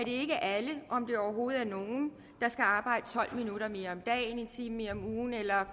ikke er alle om overhovedet nogen der skal arbejde tolv minutter mere om dagen en time mere om ugen eller